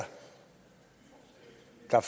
der